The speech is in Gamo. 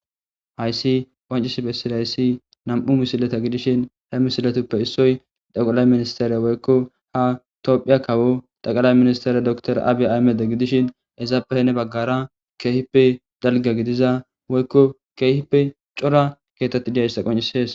Haysi qoncisi besizaysi nam'u misileta gidishin he misiletuppe issoy tekilay ministere woykkon ha tophiya kawo tekilay ministere doctor abiy Ahmed gidishin izappe heni bagara kehippe dalga gidiza woykon kehippe cora kethati dizaysa qoncisise.